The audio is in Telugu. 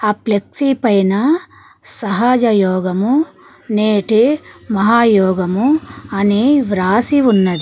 ఫ్లెక్సీ పైన సహజ యోగము నేటి మహాయోగము అని వ్రాసి ఉన్నది.